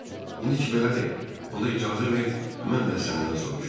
İndi ki belədir, onda icazə ver mən də səndən soruşum.